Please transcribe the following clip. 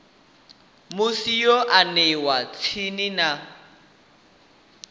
musi yo aniwa tsini na